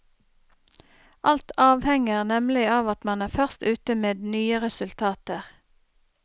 Alt avhenger nemlig av at man er først ute med nye resultater.